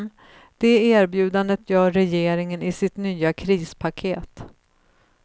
Det erbjudandet gör regeringen i sitt nya krispaket.